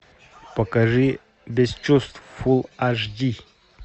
покажи без чувств фулл аш ди